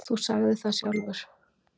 Þú sagðir það sjálfur